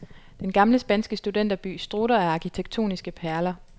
Den gamle spanske studenterby strutter af arkitektoniske perler.